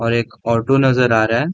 और एक ऑटो नजर आ रहा है।